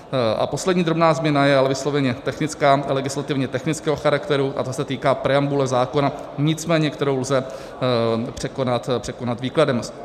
A poslední drobná změna, je ale vysloveně technická, legislativně technického charakteru, a ta se týká preambule zákona, nicméně kterou lze překonat výkladem.